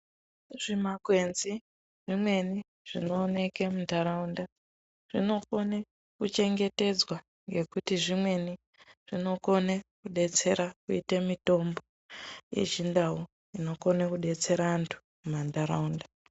Zvimakwenzi zvimweni zvinooneke mundaraunda zvinokone kuchengetedzwa ngekuti zvimweni zvinokone kudetsera kuite mitombo yechindau inokone kudetsera antu mumandaraunda.